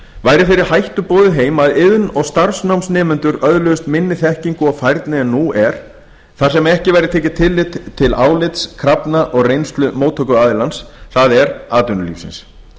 væri þeirri hættu boðið heim að iðn og starfsnámsnemendur öðluðust minni þekkingu og færni en nú er þar sem ekki væri tekið tillit til álits krafna og reynslu móttökuaðilans það er atvinnulífsins